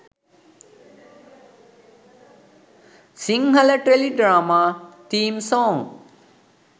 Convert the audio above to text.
sinhala teledrama theme songs